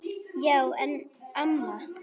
Já en amma.